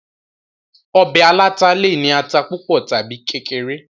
ọbẹ̀ aláta le è ní ata púpọ̀ tàbi kékeré